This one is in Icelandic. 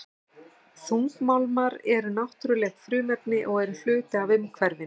Þungmálmar eru náttúruleg frumefni og eru hluti af umhverfinu.